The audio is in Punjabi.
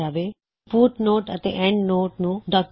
ਫੁਟਨੋਟ ਅਤੇ ਐੱਨਡਨੋਟ ਨੂੰ ਡੌਕਯੁਮੈੱਨਟ ਵਿੱਚ ਇਨਸਰਟ ਕਰਨਾ